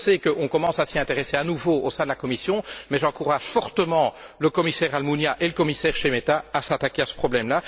Je sais que l'on commence à s'y intéresser à nouveau au sein de la Commission mais j'encourage fortement le commissaire Almunia et le commissaire Šemeta à s'attaquer à ce problème.